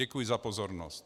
Děkuji za pozornost.